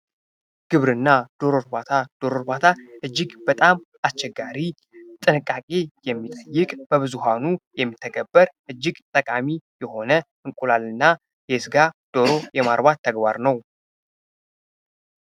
ግብርና ዶሮ እርባታ ዶሮ እርባታ እጅግ በጣም አስቸጋሪ ጥቃቂ የሚጠይቅ በብዙሀኑ የሚተገበር እጅግ ጠቃሚ የሆነ እንቁላል እና የስጋ ዶሮ የማርባት ተግባር ነው።